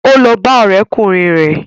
Ó lọ bá ọ̀rẹ́kùnrin rẹ̀